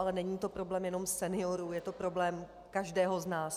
Ale není to problém jenom seniorů, je to problém každého z nás.